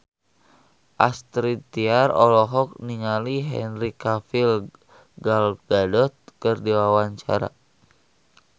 Astrid Tiar olohok ningali Henry Cavill Gal Gadot keur diwawancara